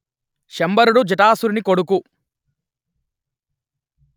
శంబరుడు జటాసురుడి కొడుకు